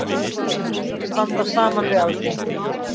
Ætla að standa saman við Alþingi